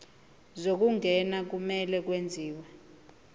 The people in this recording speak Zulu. zokungena kumele kwenziwe